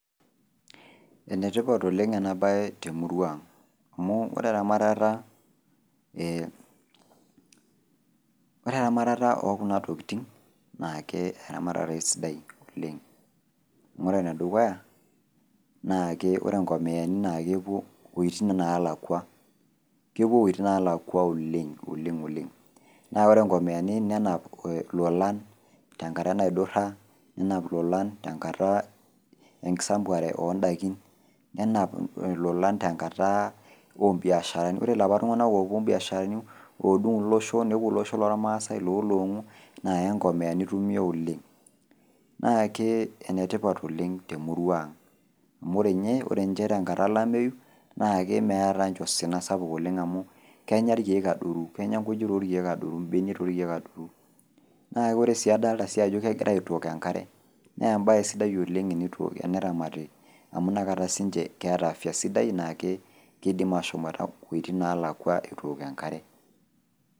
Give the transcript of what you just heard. Enetipat oleng eena baye temurua ang', amuu ore eramatata okuna tokitin, naake eramatare sidai oleng. Amuu oore enedukuya, naake ore inkomiyani naa kepuo iwueitin nelakua, kepuo iwuejitin nelakua oleng, oleng, oleng. Naa ore inkomiani naa kenap ilolan tenkata enaidura, tenkata enkisambuare odaikin, nenap ilolan tenkata ombiasharani, oore ilapa tung'anak oopuo ibiasharani oodung' iloshon nepuo iloshon lormaasae, loloong'u naa inkomiani eitumia oleng. Naake enetipat oleng temurua ang'. Amuu oore ninche tenkata olameu nemeeta ninche osina sapuk oleng amuu keenya irkeek adoru, keenya inkujit orkeek adoru, inkujit orkeek adooru. Naa oore sii adolta aajo kegirae aitook enkare, naa embaye sidai oleng eneramati amuu nakata sininche keeta afya sidai naa keidim ashomoita iwuejitin nelakwa eitu eok enkare.